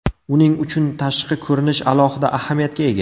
Uning uchun tashqi ko‘rinish alohida ahamiyatga ega.